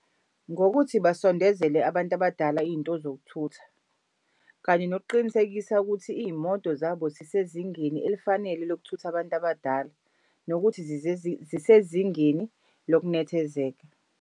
Ngokuthi basondezele abantu abadala iy'nto zokuthutha, kanye nokuqinisekisa ukuthi iy'moto zabo zisezingeni elifanele lokuthutha abantu abadala. Nokuthi zisezingeni lokunethezeka.